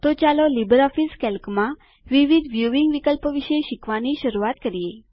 તો ચાલો લીબરઓફીસ કેલ્કમાં વિવિધ વ્યુંવીંગ વિકલ્પો વિશે શીખવાની શરૂઆત કરીએ